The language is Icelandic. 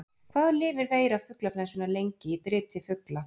Hvað lifir veira fuglaflensunnar lengi í driti fugla?